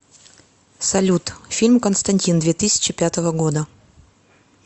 салют фильм константин две тысячи пятого года